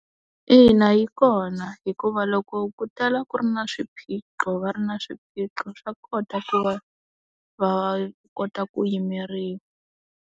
Ina yi kona, hikuva loko ku tala ku ri na swiphiqo va ri na swiphiqo swa kota ku va va kota ku yimeriwa.